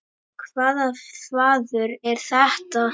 Hvaða þvaður er þetta?